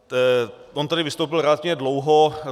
On tady vystoupil relativně dlouho.